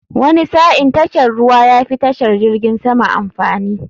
Wani sa'in tashar ruwa yafi tashar jirgin sama amfani.